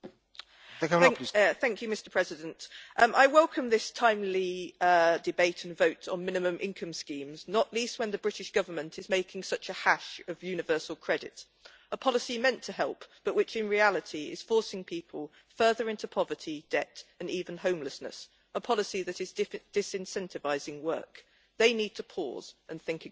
Mr President, I welcome this timely debate and vote on minimum income schemes, not least when the British Government is making such a hash of universal credit, a policy meant to help but which, in reality, is forcing people further into poverty, debt and even homelessness, a policy that is disincentivising work. It needs to pause and think again.